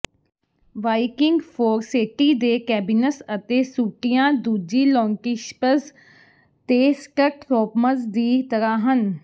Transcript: Viking Forseti ਦੇ cabins ਅਤੇ ਸੂਟੀਆਂ ਦੂਜੀ ਲੋਂਟਿਸ਼ਪਜ਼ ਤੇ ਸਟਟਰੌਮਜ਼ ਦੀ ਤਰਾਂ ਹਨ